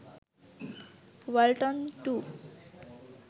Walton 2